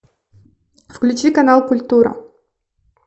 включи канал культура